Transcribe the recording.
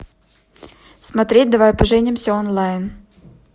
смотреть давай поженимся онлайн